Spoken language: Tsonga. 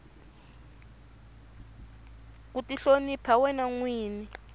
ku tihlonipa wena nwini